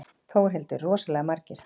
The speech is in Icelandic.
Þórhildur: Rosalega margar?